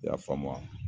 I y'a faamu wa